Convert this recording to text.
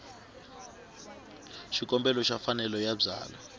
xikombelo xa mfanelo yo byala